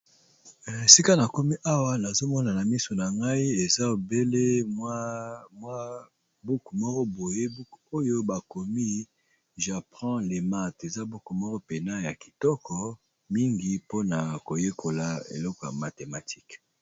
Esika na komi ,awa nazo mona na misu na ngai ! eza obele mwa buku moko boye oyo bakomi, j'apprends le math eza buku moko mpena ya kitoko mingi mpona koyekola eloko ya mathématique.